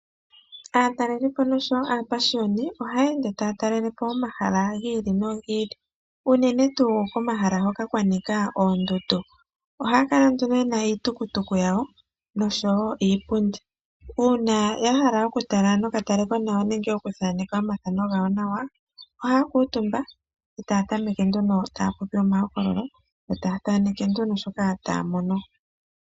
Aatalelipo noshowo aapashiyoni ohaya ende taya talelepo omahala gi ili nogi ili, unene tuu komahala hoka kwa nika oondundu. Ohaya kala nduno yena iitukutuku yawo nosho wo iipundi. Uuna ya hala okutala nokatale ko nawa nenge okuthaneka omathano gawo nawa ohaya kuutumba, etaya tameke nduno taa popi omahokololo yo taa thaaneke nduno shoka taa mono.